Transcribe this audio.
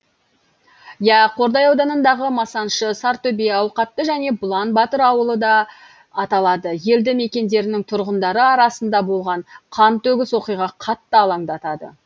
иә қордай ауданындағы масаншы сортөбе ауқатты және бұлан батыр ауылы да аталады елді мекендерінің тұрғындары арасында болған қантөгіс оқиға қатты алаңдатады